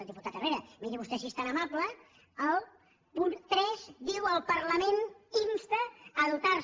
diputat herrera miri vostè si és tan amable el punt tres diu el parlament insta a dotar se